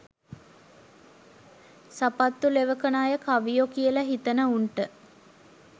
සපත්තු ලෙවකන අය කවියො කියලා හිතන උන්ට